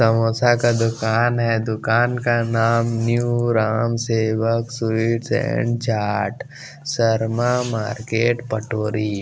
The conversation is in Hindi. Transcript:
समोसा का दुकान है दुकान का नाम new Ram Sevak sweets and chaat Sharma market Patori --